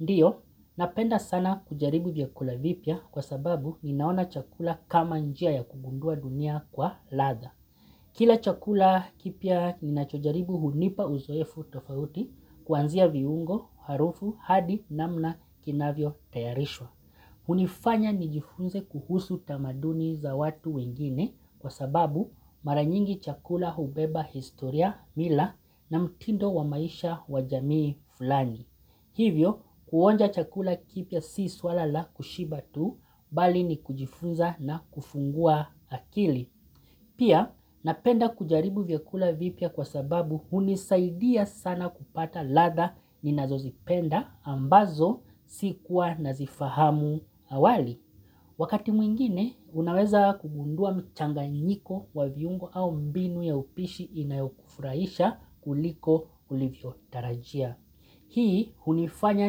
Ndiyo, napenda sana kujaribu vyakula vipya kwa sababu ninaona chakula kama njia ya kubundua dunia kwa ladha. Kila chakula kipya nina chojaribu hunipa uzoefu tofauti kuanzia viungo, harufu, hadi na mna kinavyo tayarishwa. Hunifanya nijifunze kuhusu tamaduni za watu wengine kwa sababu maranyingi chakula hubeba historia mila na mtindo wa maisha wajamii fulani. Hivyo, kuonja chakula kipya si swala la kushiba tu, bali ni kujifunza na kufungua akili. Pia, napenda kujaribu vyakula vipya kwa sababu hunisaidia sana kupata ladha ni nazozipenda ambazo sikuwa nazifahamu awali. Wakati mwingine, unaweza kubundua mchanga nyiko wa viungo au mbinu ya upishi inayokufuraisha kuliko ulivyo tarajia. Hii hunifanya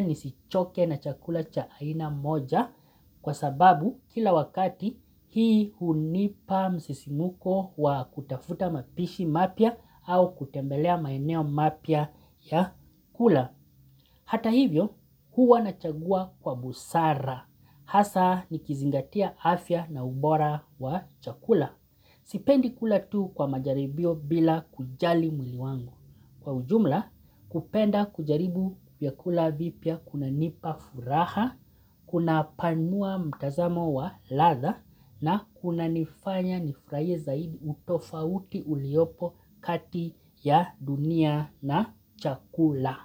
nisichoke na chakula cha aina moja kwa sababu kila wakati hii hunipa msisimuko wa kutafuta mapishi mapya au kutembelea maeneo mapya ya kula. Hata hivyo, huwa na chagua kwa busara. Hasa ni kizingatia afya na ubora wa chakula. Sipendi kula tu kwa majaribio bila kujali mwili wangu. Kwa ujumla, kupenda kujaribu vykula vipya kuna nipa furaha, kuna panua mtazamo wa ladha na kuna unanifanya nifurahi zaidi utofauti uliopo kati ya dunia na chakula.